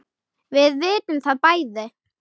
Við vitum það bæði.